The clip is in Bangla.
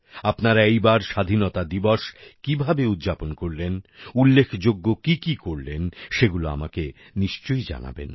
আপনারা এইবার স্বাধীনতা দিবস কি ভাবে উদযাপন করলেন উল্লেখযোগ্য কি কি করলেন সেগুলো আমাকে নিশ্চয়ই জানাবেন